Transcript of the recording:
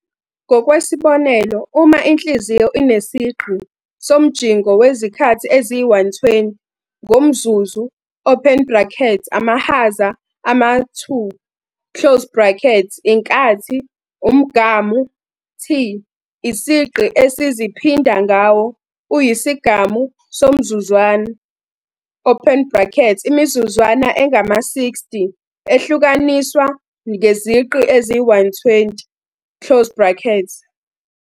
Ngokwesibonelo, uma inhliziyo inesigqi somjingo wezikhathi eziyi-120 ngomzuzu open bracket amahaza ama-2, inkathi, umgamu-T isigqi esiziphinda ngawo-uyisigamu somzuzwana open bracket imizuzwana engama-60 ehlukaniswa ngezigqi eziyi-120.